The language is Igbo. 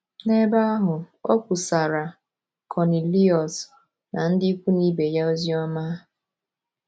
N’ebe ahụ, o kwusaara Kọniliọs na ndị ikwu na ibe ya ozi ọma.